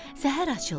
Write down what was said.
Səhər açıldı.